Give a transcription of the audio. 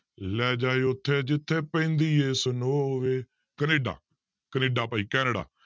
ਲੈ ਜਾ ਉੱਥੇ ਜਿੱਥੇ ਪੈਂਦੀ ਹੈ snow ਵੇ ਕੈਨੇਡਾ ਕੈਨੇਡਾ ਭਾਈ ਕੈਨੇਡਾ